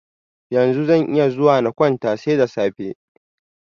Yanzu zan iya zuwa na kwanta, sai da safe.